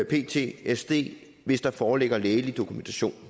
ptsd hvis der foreligger lægelig dokumentation